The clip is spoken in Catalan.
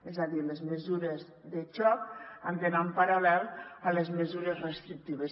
és a dir les mesures de xoc han d’anar en paral·lel a les mesures restrictives